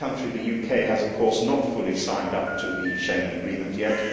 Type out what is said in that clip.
My country, the UK, has of course not fully signed up to the Schengen Agreement yet.